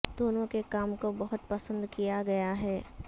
دونوں کے کام کو بہت پسند کیا گیا ہے